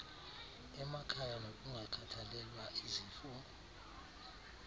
emakhaya nokungakhathalelwa izifo